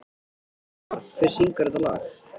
Valmar, hver syngur þetta lag?